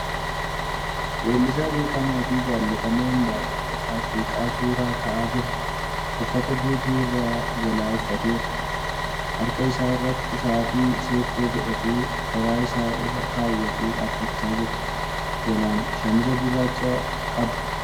Weellisaa beekamaa fi jaallatamaan Andu'alam Gosaa seeqaa suura ka'aa jira. Uffata guutuu irraa jala uffateera .Harka isaa irratti sa'aatii seekkoo godhatee garaa isaa irra kaawwatee dhaabachaa jira. Jalaan shaamiza gurraacha qaba.